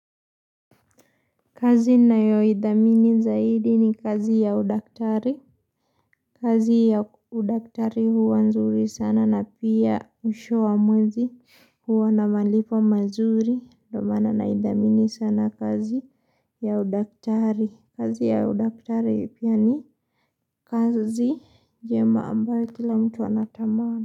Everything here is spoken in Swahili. Kazi ninayoidhamini zaidi ni kazi ya udaktari. Kazi ya udaktari huwa nzuri sana na pia mwisho wa mwezi huwa na malipo mazuri. Ndo maana naidhamini sana kazi ya udaktari. Kazi ya udaktari pia ni kazi njema ambayo kila mtu anatamana.